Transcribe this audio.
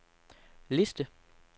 liste